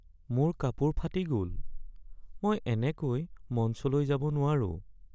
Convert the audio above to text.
মোৰ কাপোৰ ফাটি গ'ল। মই এনেকৈ মঞ্চলৈ যাব নোৱাৰোঁ।